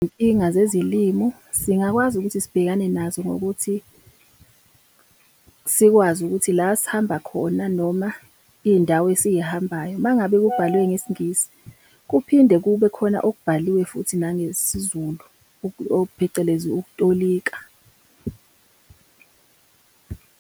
Izinkinga zezilimu singakwazi ukuthi sibhekane nazo ngokuthi sikwazi ukuthi la sihamba khona noma iy'ndawo esiy'hambayo, uma ngabe kubhalwe ngesiNgisi, kuphinde kube khona okubhaliwe futhi nangesiZulu phecelezi ukutolika .